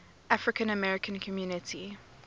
african american community